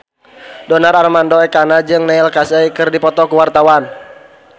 Donar Armando Ekana jeung Neil Casey keur dipoto ku wartawan